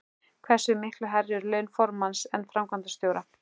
Hversu miklu hærri eru laun formanns en framkvæmdastjóra?